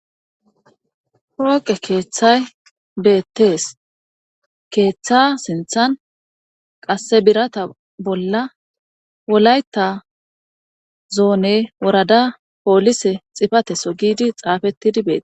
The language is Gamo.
Hooqe keeththay beettees keeththa sinthan qasse birata bolla wolayta zoone worada poolise xifateso giidi xaafettidi beee.